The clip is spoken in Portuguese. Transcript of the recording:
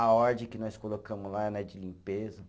A ordem que nós colocamos lá né de limpeza.